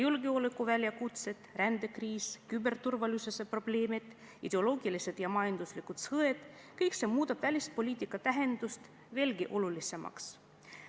Julgeolekuväljakutsed, rändekriis, küberturvalisuse probleemid, ideoloogilised ja majanduslikud sõjad – kõik see muudab välispoliitika veelgi olulisemaks.